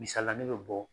Misalila ne bɛ bɔ